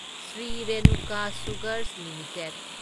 Shri Renuka sugars limited